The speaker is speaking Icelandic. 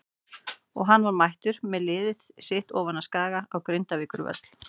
Og hann var mættur með liðið sitt ofan af Skaga á Grindavíkurvöll.